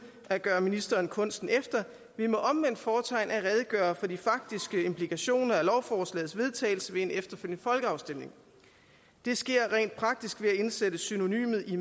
at gøre ministeren kunsten efter ved med omvendt fortegn at redegøre for de faktiske implikationer af lovforslagets vedtagelse ved en efterfølgende folkeafstemning det sker rent praktisk ved at indsætte synonymet i